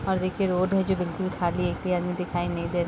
और देखिये रोड है जो बिल्कुल खाली है एक भी आदमी दिखाई नहीं दे रहा।